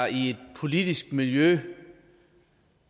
i et politisk miljø